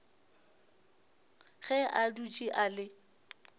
ge a dutše a le